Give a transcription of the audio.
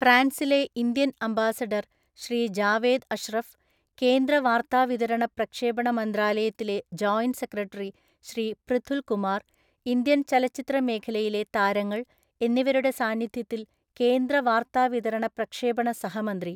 ഫ്രാൻസിലെ Indian ambassador Shri Javed Ashraf, കേന്ദ്ര വാർത്താവിതരണ പ്രക്ഷേപണ മന്ത്രാലയത്തിലെ joint secretary Shri Prithul Kumar, Indian ചലച്ചിത്ര മേഖലയിലെ താരങ്ങൾ എന്നിവരുടെ സാന്നിധ്യത്തിൽ കേന്ദ്ര വാർത്താവിതരണ പ്രക്ഷേപണ സഹമന്ത്രി